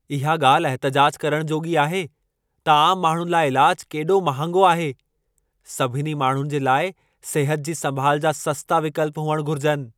इहा ॻाल्हि एहतिजाजु करणु जोॻी आहे त आम माण्हुनि लाइ इलाज केॾो महांगो आहे! सभिनी माण्हुनि जे लाइ सिहत जी संभाल जा सस्ता विकल्प हुअणु घुरिजनि।